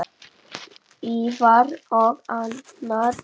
Ívar og Anna Dís.